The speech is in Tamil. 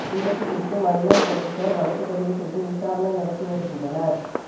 விபத்து குறித்து மயிலம் போலீஸாா் வழக்குப் பதிவு செய்து விசாரணை நடத்தி வருகின்றனா்